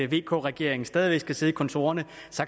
vk regeringen stadigvæk skal sidde i kontorerne